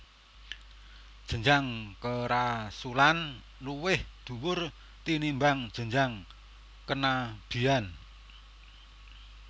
Jenjang kerasulan luwih dhuwur tinimbang jenjang kenabian